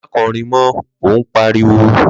Ma korin mo ọ pariwo